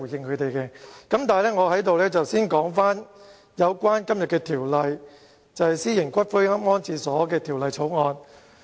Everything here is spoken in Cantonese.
不過，我會先討論今天這項《私營骨灰安置所條例草案》。